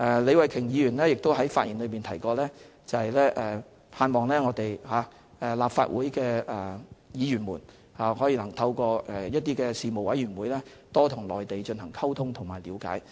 李慧琼議員在發言中提及，她盼望立法會議員能夠透過一些事務委員會多與內地進行溝通和了解。